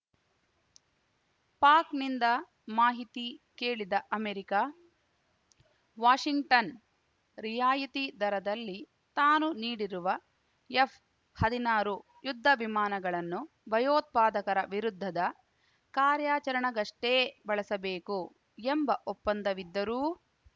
ಪಾಕ್‌ನಿಂದ ಮಾಹಿತಿ ಕೇಳಿದ America Washington ರಿಯಾಯಿತಿ ದರದಲ್ಲಿ ತಾನು ನೀಡಿರುವ ಎಫ್‌ಹದಿನಾರು ಯುದ್ಧ ವಿಮಾನಗಳನ್ನು ಭಯೋತ್ಪಾದಕರ ವಿರುದ್ಧದ ಕಾರ್ಯಾಚರಣೆಗಷ್ಟೇ ಬಳಸಬೇಕು ಎಂಬ ಒಪ್ಪಂದವಿದ್ದರೂ